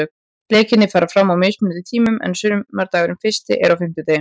Leikirnir fara fram á mismunandi tímum en sumardagurinn fyrsti er á fimmtudaginn.